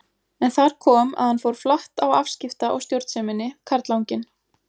En þar kom að hann fór flatt á afskipta- og stjórnseminni, karlanginn.